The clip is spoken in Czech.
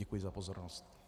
Děkuji za pozornost.